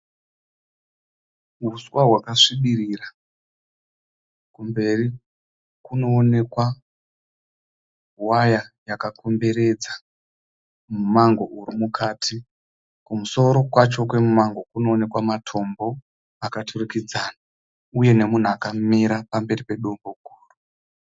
Huswa hwakasvibirira, kumberi kunoonekwa waya yakakomberedza mumango uri mukati, kumusoro kwacho kwomumango kunooneka matombo akaturikidzana uye nemunhu akamira pamberi pedombo guru.